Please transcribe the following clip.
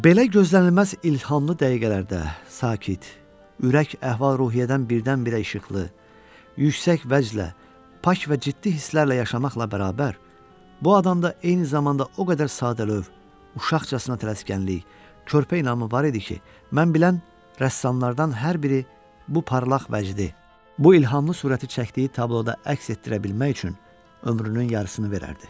Belə gözlənilməz ilhamlı dəqiqələrdə sakit, ürək əhval-ruhiyyədən birdən-birə işıqlı, yüksək vəclə pak və ciddi hisslərlə yaşamaqla bərabər, bu adamda eyni zamanda o qədər sadəlövh, uşaqcasına tələskənlik, körpə inamı var idi ki, mən bilən rəssamlardan hər biri bu parlaq vəcdi, bu ilhamlı surəti çəkdiyi tabloda əks etdirə bilmək üçün ömrünün yarısını verərdi.